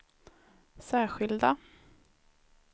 särskilda